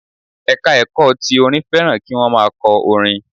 Ẹ̀ka ẹ̀kọ́ ti orin fẹ́ràn kí wọ́n má a kọ orin